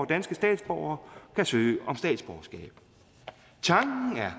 danske statsborgere kan søge om statsborgerskab tanken er